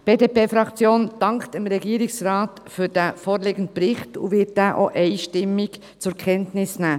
Die BDP-Fraktion dankt dem Regierungsrat für den vorliegenden Bericht und wird diesen auch einstimmig zur Kenntnis nehmen.